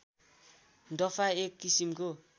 डफा एक किसिमको